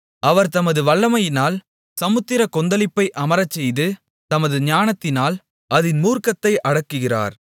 அவர் தமது வல்லமையினால் சமுத்திரக் கொந்தளிப்பை அமரச்செய்து தமது ஞானத்தினால் அதின் மூர்க்கத்தை அடக்குகிறார்